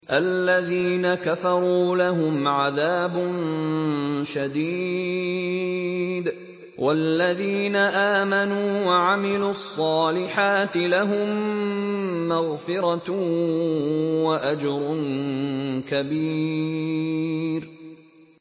الَّذِينَ كَفَرُوا لَهُمْ عَذَابٌ شَدِيدٌ ۖ وَالَّذِينَ آمَنُوا وَعَمِلُوا الصَّالِحَاتِ لَهُم مَّغْفِرَةٌ وَأَجْرٌ كَبِيرٌ